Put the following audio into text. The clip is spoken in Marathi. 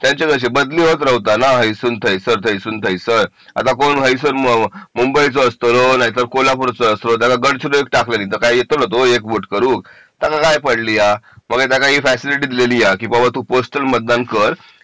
त्यांची कशी बदली होत राहतो ना हायसून थैस थैसून थैस आता कोण मुंबईचा असतो कोण कोल्हापूरचा असतो त्याला गडचिरोलीत टाकलो तर तो काही येतो का एक वोट करूक त्यानं ही पडलीया म्हणून त्यांना ही फॅसिलिटी दीलिया की तू पोस्टन मतदान कर